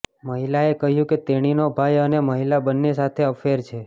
મહિલાએ કહ્યું કે તેણીનો ભાઈ અને મહિલા બંને સાથે અફેર છે